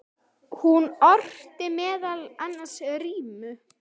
Hún orti meðal annars rímur.